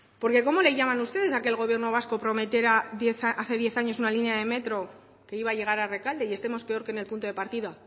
porque cómo le llaman ustedes a que el gobierno vasco prometiera hace diez años una línea de metro que iba a llegar a rekalde y estemos peor que en el punto de partida